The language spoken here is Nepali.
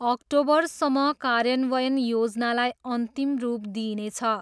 अक्टोबरसम्म कार्यान्वयन योजनालाई अन्तिम रूप दिइनेछ।